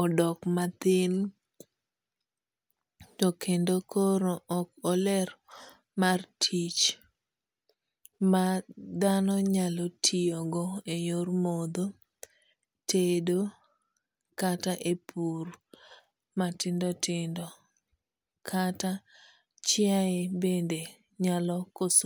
odok mathin. To kendo koro ok oler mar tich ma dhano nyalo tiyo go e yor modho, tedo, kata e pur matindo tindo. Kata chiaye bende nyalo koso